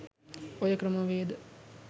ඔය ක්‍රමවේද